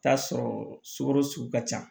Taa sɔrɔ sugoro su ka ca